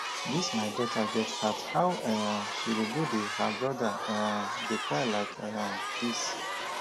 dis my daughter get heart how um she go go dey her brother um dey cry like um dis?